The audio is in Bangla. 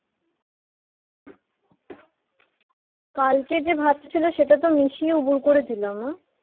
কালকে যে ভাত ছিল সেটা তো মিশিয়ে ও ভুল করে ছিলাম না